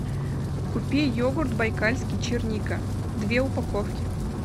купи йогурт байкальский черника две упаковки